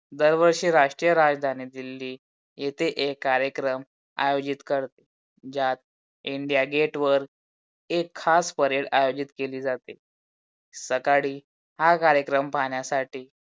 दरवर्षी राष्ट्रीय राजधानी दिल्ली इथे एक कार्यक्रम अहोजीत कर तात इंडिया गेट वर एक खास PARADE आयोजित केली जाते. सकाळी हा कार्यक्रम पाण्यासाठी